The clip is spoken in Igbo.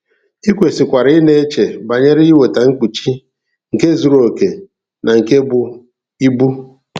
I kwesịkwara ị na-eche banyere iweta mkpuchi nke zuru okè na nke bụ ibu.